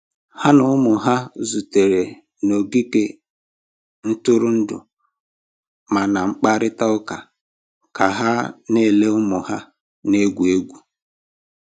Ha na ụmụ ha zutere n'ogige ntụrụndụ ma na-akparịta ụka ka ha na-ele ụmụ ha na-egwu egwu